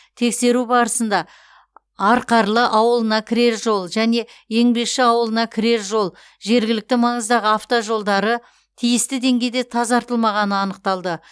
тексеру барысында арқарлы ауылына кірер жол және енбекші ауылына кірер жол жергілікті маңыздағы автожолдары тиісті деңгейде тазартылмағаны анықталды